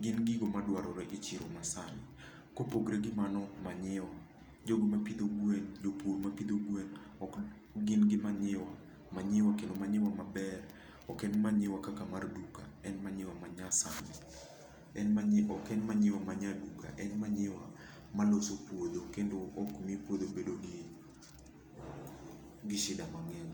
gin gigo ma dwarore e chiro masani. Kopogre gi mano, manyiwa. Jogo mapidho gwen, jopur mapidho gwen, gin gi manyiwa, manyiwa kendo manyiwa maber. Ok en manyiwa kaka mar duka. En manyiwa manyasani. Ok en manyiwa ma nyaduka. En manyiwa maloso puodho kendo okmi puodho bedo gi shida mang'eny.